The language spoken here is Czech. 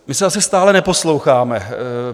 My se asi stále neposloucháme.